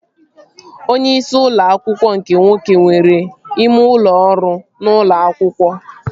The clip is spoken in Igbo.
Onyeisi ụlọ akwụkwọ nke nwoke nwere ime ụlọ ọrụ n'ụlọ akwụkwọ